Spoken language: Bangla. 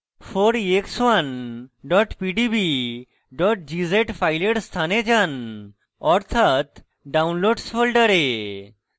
4ex1 pdb gz file স্থানে যান অর্থাৎ downloads folder